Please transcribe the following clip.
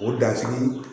O dasigi